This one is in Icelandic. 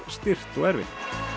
stirt og erfitt